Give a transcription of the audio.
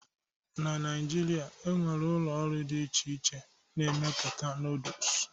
na Naijiria, e nwere ụlọ ọrụ dị iche iche na-emepụta Noodles